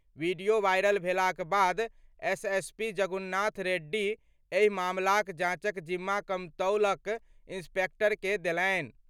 Video viral भेलाक बाद SSP Jagunath Reddy एहि मामलाक जांचक जिम्मा कमतौलक इंस्पेक्टर कें देलनि।